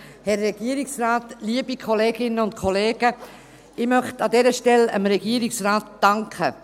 Ich möchte an dieser Stelle dem Regierungsrat danken.